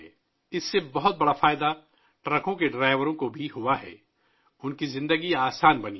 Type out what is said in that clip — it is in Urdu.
اس سے ٹرکوں کے ڈرائیوروں کو بھی کافی فائدہ ہوا ہے، ان کی زندگی آسان ہو گئی ہے